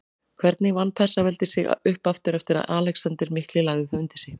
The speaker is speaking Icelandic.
Hvernig vann Persaveldi sig upp aftur eftir að Alexander mikli lagði það undir sig?